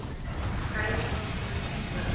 vrou spesifieke simptome